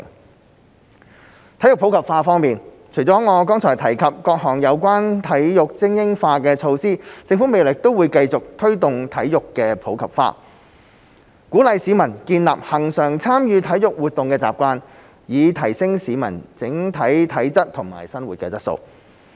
在體育普及化方面，除了我剛才提及各項有關體育精英化的措施，政府未來亦會繼續推動體育普及化，鼓勵市民建立恆常參與體育活動的習慣，以提升市民整體體質及生活質素。